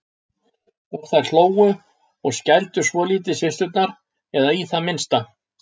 Og þær hlógu og skældu svolítið systurnar, eða í það minnsta